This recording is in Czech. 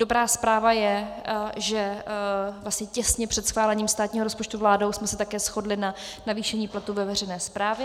Dobrá zpráva je, že těsně před schválením státního rozpočtu vládou jsme se také shodli na navýšení platů ve veřejné správě.